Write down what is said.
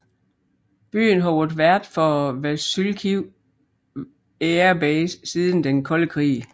Byen har været vært for Vasylkiv Air Base siden Den kolde krig